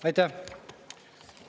Aitäh!